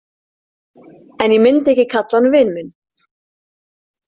En ég myndi ekki kalla hann vin minn.